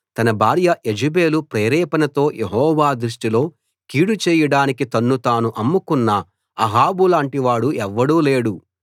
తన భార్య యెజెబెలు ప్రేరేపణతో యెహోవా దృష్టిలో కీడు చేయడానికి తన్ను తాను అమ్ముకున్న అహాబులాంటి వాడు ఎవ్వడూ లేడు